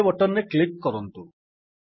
okay button ରେ click କରନ୍ତୁ